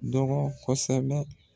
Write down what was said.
Dɔgɔ kosɛbɛ